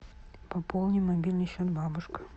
пополни мобильный счет бабушка